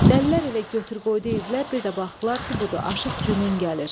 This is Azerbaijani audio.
Dəlilər elə götür-qoy edirdilər, bir də baxdılar ki, budur, Aşıq Cünun gəlir.